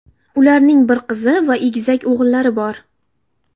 Ularning bir qizi va egizak o‘g‘illari bor.